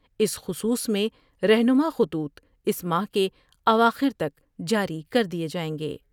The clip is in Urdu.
اس خصوص میں رہنماء خطوط اس ماہ کے اواخر تک جاری کر دئیے جائیں گے ۔